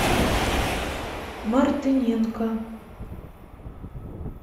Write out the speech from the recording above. мартыненко